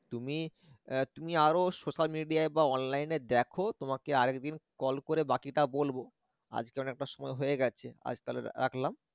তুমি এর তুমি আরো social media বা online এ দেখ তোমাকে আরেকদিন call করে বাকিটা বলবো আজকে অনেকটা সময় হয়ে গেছে আজ তাহলে রাখলাম